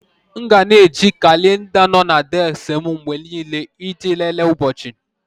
M ga na eji kalenda nno na désik m mgbe niile iji lelee ụbọchị.